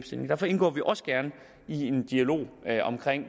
derfor indgår vi også gerne i en dialog om